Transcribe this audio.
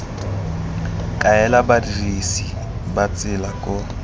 kaela badirisi ba tsela koo